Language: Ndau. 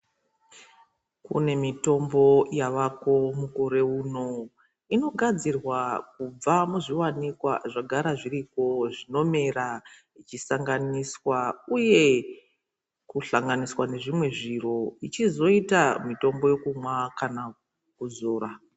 Kune mitombo yavako mukore uno, inogadzirwa kubva muzviwanikwa zvagara zviripo zvinomera zvichisanganiswa, uye kuhlanganiswa nezvimwe zviro zvichizoita mitombo yekumwa kana kuzora.